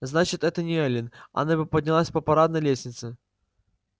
значит это не эллин она бы поднялась по парадной лестнице